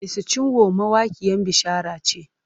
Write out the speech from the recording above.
Mercy Chinwo mawaƙiyan bishara ce.